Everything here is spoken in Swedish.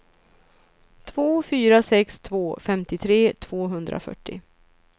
två fyra sex två femtiotre tvåhundrafyrtio